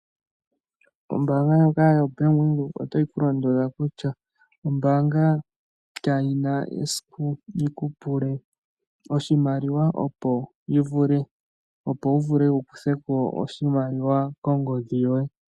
Ombaanga ndyoka yaBank Windhoek ota yi ku londodha kutya ombaanga kayina esiku yi ku pule oshimaliwa, opo wu vule wu kuthe ko oshimalwa kongodhi yoye.